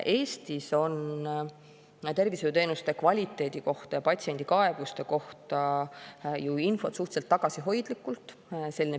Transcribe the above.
Eestis on tervishoiuteenuste kvaliteedi kohta ja patsiendi kaebuste kohta infot suhteliselt tagasihoidlikult.